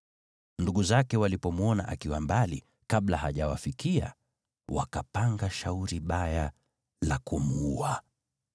Ndugu zake walipomwona akiwa mbali, kabla hajawafikia, wakapanga shauri baya la kumuua.